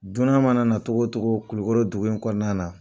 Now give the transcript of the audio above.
Dunan mana na cogocogo kulukɔrɔ dugu in kɔnɔna na